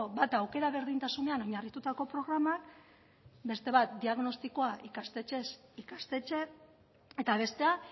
bata aukera berdintasunean oinarritutako programak beste bat diagnostikoa ikastetxez ikastetxe eta bestea